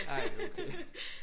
Ej det er okay